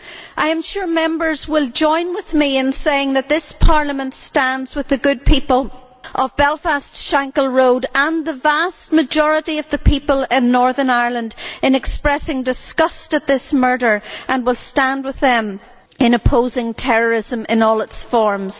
I am sure Members will join with me in saying that this Parliament stands with the good people of Belfast's Shankhill Road and the vast majority of the people in Northern Ireland in expressing disgust at this murder and will stand with them in opposing terrorism in all its forms.